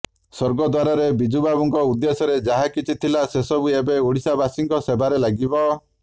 ସ୍ୱର୍ଗଦ୍ୱାରରେ ବିଜୁବାବୁଙ୍କ ଉଦ୍ଦେଶ୍ୟରେ ଯାହା କିଛି ଥିଲା ସେସବୁ ଏବେ ଓଡ଼ିଶାବାସୀଙ୍କ ସେବାରେ ଲାଗିବ